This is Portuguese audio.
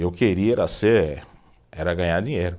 Eu queria era ser, era ganhar dinheiro.